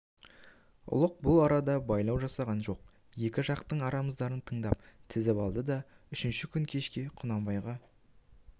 ұлық бұл арада байлау жасаған жоқ екі жақтың арыздарын тыңдап тізіп алды да үшінші күн кешке құнанбайға